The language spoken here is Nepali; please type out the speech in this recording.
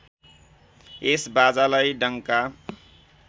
यस बाजालाई डङ्का